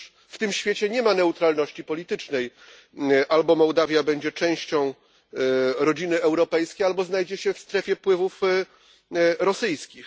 Otóż w tym świecie nie ma neutralności politycznej albo Mołdawia będzie częścią rodziny europejskiej, albo znajdzie się w strefie wpływów rosyjskich.